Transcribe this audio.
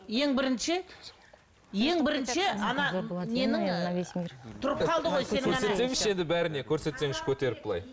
ең бірінші ең бірінші